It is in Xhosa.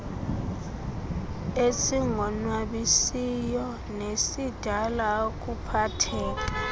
esingonwabisiyo nesidala ukuphatheka